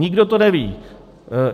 Nikdo to neví.